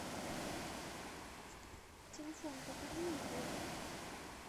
телефон покорми егору